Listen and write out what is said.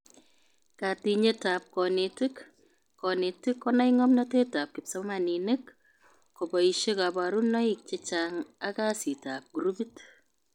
Katinyetab konetik:Konetik konai ngomnatetab kipsomanink, koboishe kabarunoik chechang ak kasitab grupit